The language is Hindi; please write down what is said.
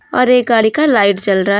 और एक गाड़ी का लाइट जल रहा--